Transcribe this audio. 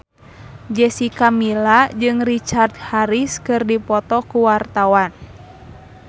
Jessica Milla jeung Richard Harris keur dipoto ku wartawan